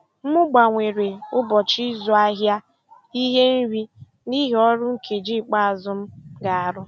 M gbanwere ụbọchị ịzụ ahịa ihe nri n'ihi ọrụ nkeji ikpeazụ m ga-arụ.